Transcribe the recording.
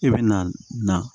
I bɛ na